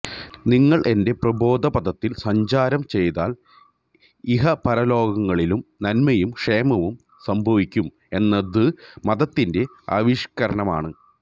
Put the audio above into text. നിങ്ങള് എന്റെ പ്രബോധപഥത്തില് സഞ്ചാരം ചെയ്താല് ഇഹപരലോകങ്ങളിലും നന്മയും ക്ഷേമവും സംഭവിക്കും എന്നത് മതത്തിന്റെ ആവിഷ്കാരമാണ്